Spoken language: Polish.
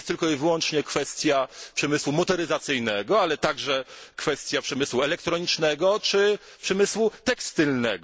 To nie jest tylko i wyłącznie kwestia przemysłu motoryzacyjnego, ale także kwestia przemysłu elektronicznego czy przemysłu tekstylnego.